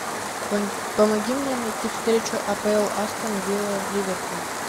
помоги мне найти встречу апл астон вилла ливерпуль